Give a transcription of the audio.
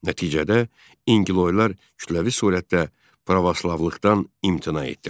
Nəticədə İnqiloylar kütləvi surətdə pravoslavlıqdan imtina etdilər.